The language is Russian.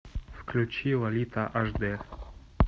включи лолита ашди